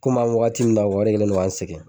Komi an bi wagati min na o de kɛlen do ka n sɛgɛn